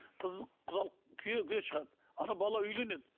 қызы құдалық күйеуге шығады анау бала үйленеді